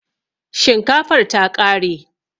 Shinkafar ta ƙare